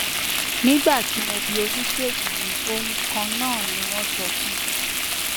nígbà tí mo bi oníṣègùn mi ohun kan náà ni wọn sọ fún mi